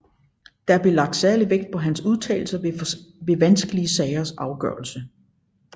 Der blev lagt særlig vægt på hans udtalelser ved vanskelige sagers afgørelse